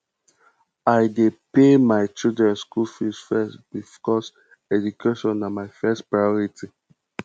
i dey pay my children skool fees first because education na my first priority